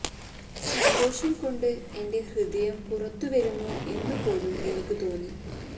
സന്തോഷം കൊണ്ട് എന്റെ ഹൃദയം പുറത്തു വരുമോ എന്നുപോലും എനിക്ക് തോന്നി